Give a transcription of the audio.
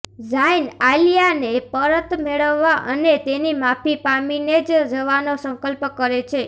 ઝાઇન આલિયાને પરત મેળવવા અને તેની માફી પામીને જ જવાનો સંકલ્પ કરે છે